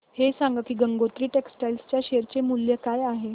हे सांगा की गंगोत्री टेक्स्टाइल च्या शेअर चे मूल्य काय आहे